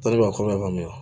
Tɔɔri b'a kɔnɔ y'a mɛn